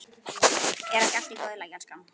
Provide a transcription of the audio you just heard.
Er ekki allt í góðu lagi, elskan?